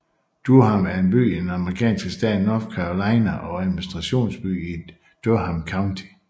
Durham er en by i den amerikanske stat North Carolina og administrationsby i Durham County